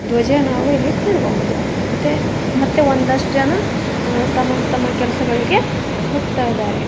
ದ್ಬಜ ನಾವು ಇಲ್ಲಿ ಕಾಣಬಹುದು ಮತ್ತೆ ಮತ್ತೆ ಒಂದಷ್ಟು ಜನ ತಮ್ಮ ತಮ್ಮ ಕೆಲ್ಸಗಳಿಗೆ ಹೋಗ್ತಾ ಇದ್ದಾರೆ.